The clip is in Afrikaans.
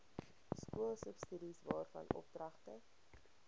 skoolsubsidies waarvan oordragte